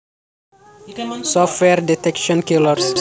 Software Detection Killers